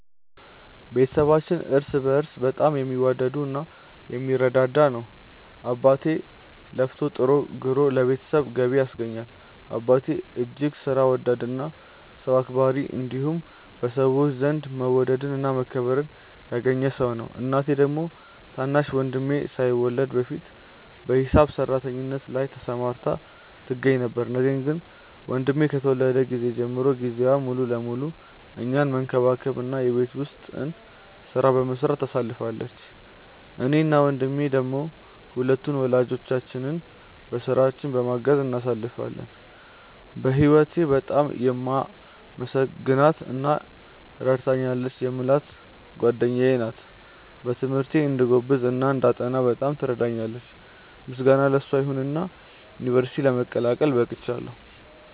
ቤተሰባችን እርስ በእርስ በጣም የሚዋደድ እና የሚረዳዳ ነው። አባቴ ለፍቶ ጥሮ ግሮ ለቤተሰቡ ገቢ ያስገኛል። አባቴ እጅግ ሥራ ወዳድ እና ሰው አክባሪ እንዲሁም በሰዎች ዘንድ መወደድን እና መከበርን ያገኘ ሰው ነው። እናቴ ደግሞ ታናሽ ወንድሜ ሳይወለድ በፊት በሂሳብ ሰራተኝነት ላይ ተሰማርታ ትገኛ ነበር፤ ነገር ግን ወንድሜ ከተወለደ ጊዜ ጀምሮ ጊዜዋን ሙሉ ለሙሉ እኛን መንከባከብ እና የቤት ውስጡን ሥራ በመስራት ታሳልፋለች። እኔ እና ወንድሜ ደሞ ሁለቱን ወላጆቻችንን በሥራቸው በማገዝ እናሳልፋለን። በህወቴ በጣም የማመሰግናት እና ረድታኛለች የምላት ጓደኛዬ ናት። በትምህርቴ እንድጎብዝ እና እንዳጠና በጣም ትረዳኛለች። ምስጋና ለሷ ይሁንና ዩንቨርስቲ ለመቀላቀል በቅቻለው።